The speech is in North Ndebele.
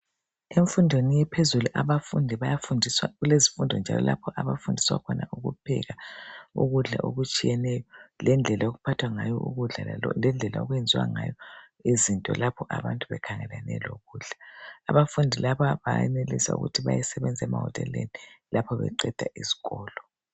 Emfundweni ephezulu, abafundi bayafundiswa kulezifundo njalo lapho abafundiswa khona ukupheka ukudla okutshiyeneyo. Lendlela okuphathwa ngayo ukudla. Lendlela okwenziwa ngayo izinto lapho abantu bekhangelane lokudla. Abafundi laba benelisa ukuthi bayesebenza emahoteleni lapho beqeda iskolo.